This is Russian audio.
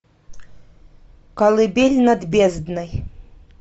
колыбель над бездной